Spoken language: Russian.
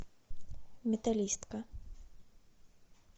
металлистка